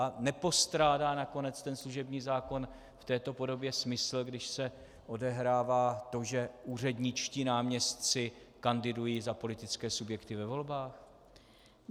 A nepostrádá nakonec ten služební zákon v této podobě smysl, když se odehrává to, že úředničtí náměstci kandidují za politické subjekty ve volbách?